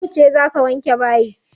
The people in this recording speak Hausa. Yauce za ka wanke bayi?